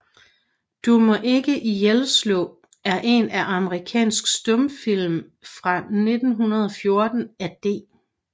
Du maa ikke ihjelslaa er en amerikansk stumfilm fra 1914 af D